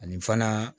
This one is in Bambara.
Ani fana